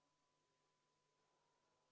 Oleme neljanda muudatusettepaneku juures.